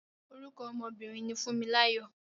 Orúkọ ọmọ obìnrin ni Fúnmiláyọ̀.